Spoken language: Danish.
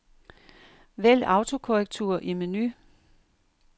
Vælg autokorrektur i menu.